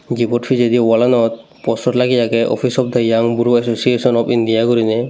gibot pijedi walanot poster lageye agey opis of the yang gro association of india guriney.